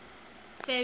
ferry